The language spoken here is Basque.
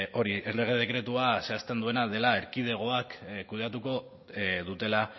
hori errege dekretua zehazten duena dela erkidegoak kudeatuko dutela